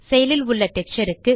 செயலில் உள்ள டெக்ஸ்சர் க்கு